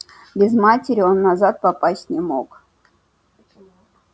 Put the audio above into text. без матери он назад попасть не мог